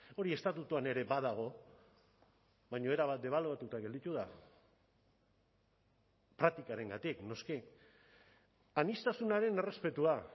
hori estatutuan ere badago baina erabat debaluatuta gelditu da praktikarengatik noski aniztasunaren errespetua